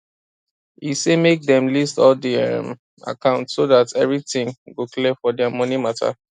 e say make them list all di um account so that everything go clear for their money matter